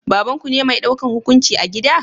Babanku ne mai daukan hukunci a gida?